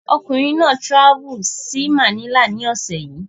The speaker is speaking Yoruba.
Ọkùnrin náà trvalled sí Manila ní ọ̀sẹ̀ yìí